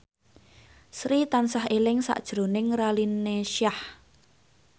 Sri tansah eling sakjroning Raline Shah